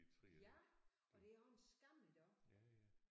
Ja og det er jo en skam iggå